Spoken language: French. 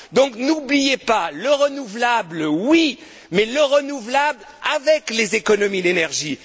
Donc, n'oubliez pas, le renouvelable, oui, mais le renouvelable avec les économies d'énergie.